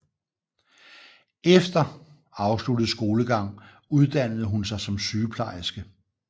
Eter afsluttet skolegang uddannede hun sig som sygeplejerske